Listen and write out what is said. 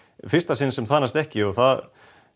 fyrsta sinn sem það næst ekki og það